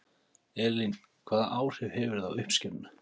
Elín: Hvaða áhrif hefur það á uppskeruna?